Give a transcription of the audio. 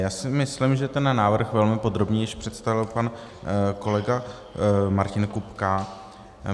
Já si myslím, že ten návrh velmi podrobně již představil pan kolega Martin Kupka.